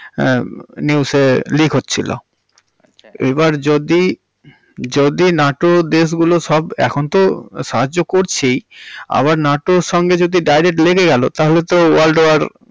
হাঁ news এ leak হচ্ছিল। আচ্ছা। এবার যদি~ যদি নাটো দেশগুলো সব, এখন তো সাহায্য করছেই আবার নাটোর সঙ্গে যদি direct লেগে গেলো তাহলে তো world war